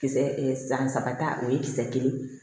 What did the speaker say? Kisɛ e san saba ta o ye kisɛ kelen